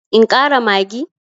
In ƙara maggi?